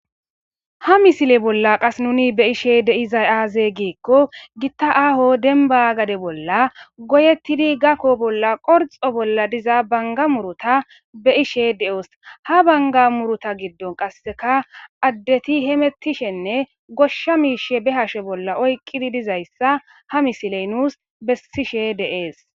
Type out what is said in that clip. ha misile bolla qas nuni be'ishe deiza aaze giikko gitta aaho denba gade bolla goyettidi gakko bolla qorxo bolla diza banga murota be ishe de7os ha banga murota giddon qasseka addeti hemettishenne goshsha miishe be hashe bolla oyqqidi dizayssa ha misiley nuus bessishe de'ess